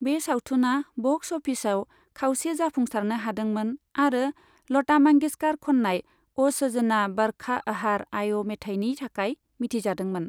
बे सावथुना बक्स अफिसआव खावसे जाफुंसारनो हादोंमोन आरो लता मंगेशकार खननाय अ' सजना बरखा बहार आइ' मेथाइनि थाखाय मिथिजादोंमोन।